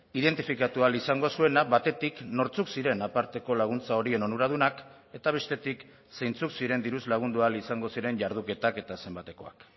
identifikatu ahal izango zuena batetik nortzuk ziren aparteko laguntza horien onuradunak eta bestetik zeintzuk ziren diruz lagundu ahal izango ziren jarduketak eta zenbatekoak